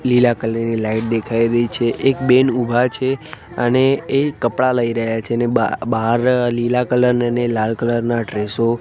લીલા કલર ની લાઈટ દેખાય રહી છે એક બેન ઊભા છે અને એ કપડાં લઈ રહ્યા છે ને બા બાર લીલા કલર ને ને લાલ કલર ના ડ્રેસો --